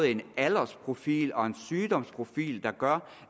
en aldersprofil og en sygdomsprofil der gør